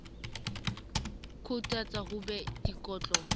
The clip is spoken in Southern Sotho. quotas ho be le dikotlo